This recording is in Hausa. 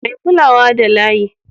Mai kulawa da layi